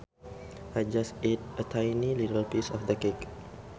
I just ate a tiny little piece of the cake